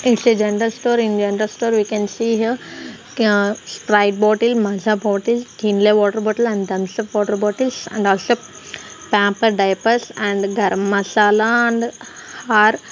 its a general store in general store we can see here ah sprite bottle maaza bottle kinley water bottle and thumsup water bottles and also pamper diapers and garam masala and are--